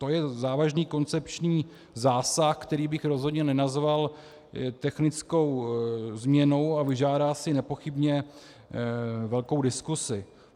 To je závažný koncepční zásah, který bych rozhodně nenazval technickou změnou, a vyžádá si nepochybně velkou diskusi.